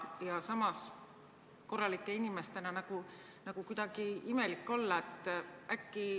Ja samas, korralike inimestena on nagu kuidagi imelik olla.